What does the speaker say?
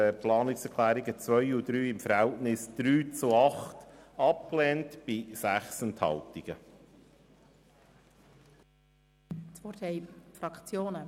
Die Planungserklärungen 2 und 3 werden beide mit 3 Ja- gegen 8 Nein-Stimmen bei 6 Enthaltungen abgelehnt.